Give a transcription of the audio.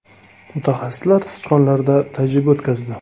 Mutaxassislar sichqonlarda tajriba o‘tkazdi.